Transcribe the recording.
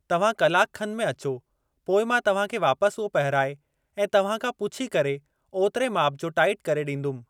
तव्हां कलाक खन में अचो पोइ मां तव्हां खे वापस उहो पहिराए ऐं तव्हां खां पुछी करे ओतिरे माप जो टाइट करे ॾींदुमि।